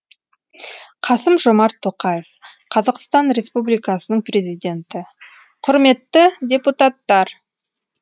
қасым жомарт тоқаев қазақстан республикасының президенті құрметті депутаттар